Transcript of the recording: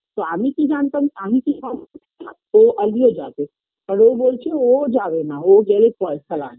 তো আমি কি জানতাম আমি কি সব ও অভিও যাবে আর ও বলছে ও যাবে না ও গেলে পয়সা লাগবে